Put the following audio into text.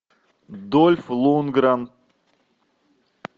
дольф лундгрен